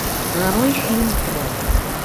нарой фильм трон